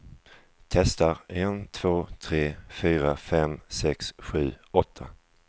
Testar en två tre fyra fem sex sju åtta.